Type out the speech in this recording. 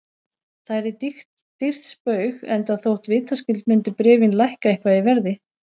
Það yrði dýrt spaug, enda þótt vitaskuld myndu bréfin lækka eitthvað í verði.